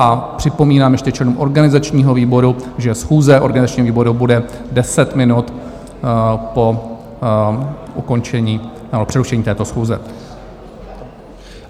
A připomínám ještě členům organizačního výboru, že schůze organizačního výboru bude 10 minut po ukončení nebo přerušení této schůze.